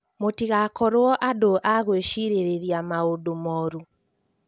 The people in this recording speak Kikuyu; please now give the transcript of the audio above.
Mũtigakorwo andũ a gwĩcirerĩria maũndũ morũ